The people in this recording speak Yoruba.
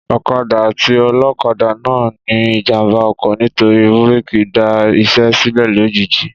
Ọ̀kadà àti olókadà náà ní ìjàmbá ọkọ̀ nítorí búrèkì dá isé sílè lojiji